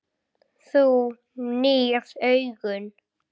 Þú nýrð augun.